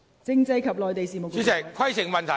政制及內地事務局局長，請作答。